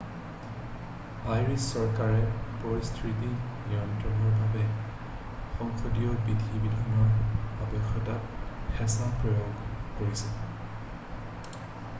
Irish চৰকাৰে পৰিস্থিতি নিয়ন্ত্ৰণৰ বাবে সংসদীয় বিধি-বিধানৰ আৱশ্যকতাত হেঁচা প্ৰয়োগ কৰিছে